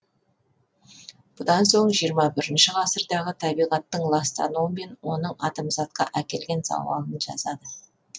бұдан соң жиырма бірінші ғасырдағы табиғаттың ластануы мен оның адамзатқа әкелген зауалын жазады